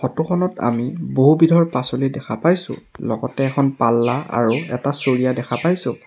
Photo খনত আমি বহু বিধৰ পাছলি দেখা পাইছোঁ লগতে এখন পাল্লা আৰু এটা চৰিয়া দেখা পাইছোঁ।